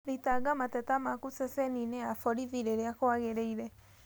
Thitanga mateta maku ceceni-inĩ ya borithi rĩria kwagirĩire